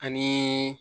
Ani